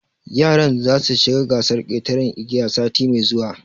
Yaran za su shiga gasar ƙetaran igiya sati mai zuwa